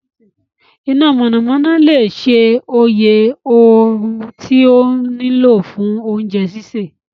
Ina monanona le ṣe oye ooru ti o nilo fun ounje sise